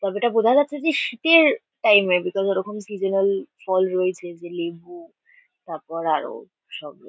তবে এটা বোঝা যাচ্ছে যে শীতে-এর টাইম -এ বিকস ওরকম সিজন্যাল ফল রয়েছে যে লেবু তাপর আরো সব --